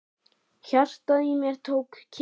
Hjartað í mér tók kipp.